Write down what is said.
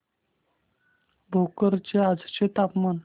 भोकर चे आजचे तापमान